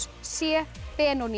c